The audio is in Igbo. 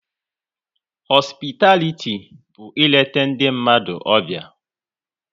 Họsupitaliti bụ île ndị mmadụ ọbịa